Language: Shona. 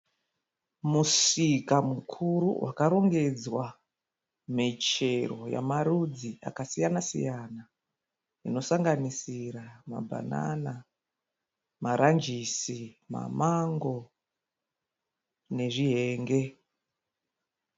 Musika mukuru wakarongedzwa michero yamarudzi akasiyana siyana inosanganisira mabhanana, marangisi, mamango nezvihenge.